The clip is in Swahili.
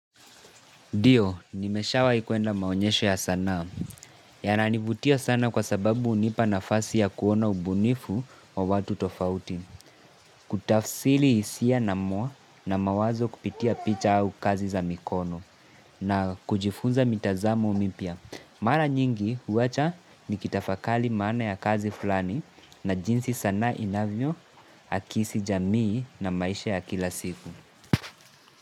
Ndio, nimeshawahi kwenda maonyesho ya sanaa. Yananivutia sana kwa sababu unipa nafasi ya kuona ubunifu wa watu tofauti. Kutafsiri isia na mwa na mawazo kupitia picha au kazi za mikono na kujifunza mitazamo mipya. Mara nyingi huwacha nikitafakali maana ya kazi fulani na jinsi sanaa inavyo akisi jamii na maisha ya kila siku.